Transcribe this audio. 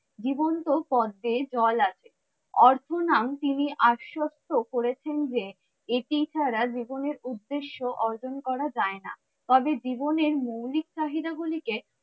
জীবন্ত পদ্মে জল আছে। অর্থনাম তিনি আস্বস্ত করেছেন যে এটি ছাড়া জীবনের উদ্দেশ্য অর্জন করা যায় না। তবে জীবনের মৌলিক চাহিদা গুলি কে,